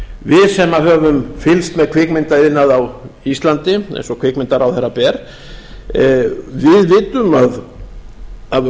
við sem höfum fylgst með kvikmyndaiðnaði á íslandi eins og kvikmyndaráðherra ber við vitum að það hefur